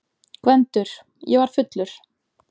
GVENDUR: Ég var fullur!